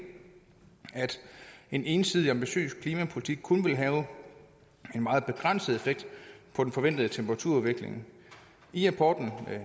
at en ensidig ambitiøs klimapolitik kun vil have en meget begrænset effekt på den forventede temperaturudvikling i rapporten